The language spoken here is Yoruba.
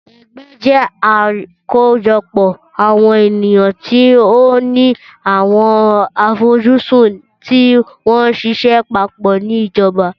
Ẹgbẹ́ jẹ àkójọpọ̀ àwọn ènìyàn tí ó ni àwọn àfojúsùn tí wọ́n ṣiṣẹ́ papọ̀ ni ìjọba.